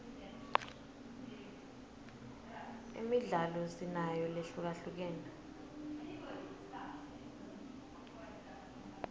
imidlalo sinayo lehlukahlukene